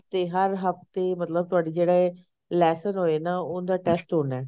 ਤੇ ਹਰ ਹਫਤੇ ਮਤਲਬ ਤਹਾਡੇ ਜਿਹੜੇ lesson ਹੋਏ ਨਾ ਉੱਦਾਂ test ਹੋਣਾ